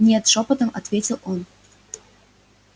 нет шёпотом ответил он